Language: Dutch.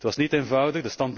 Het was niet eenvoudig.